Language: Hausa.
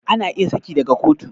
Ana iya saki daga kotu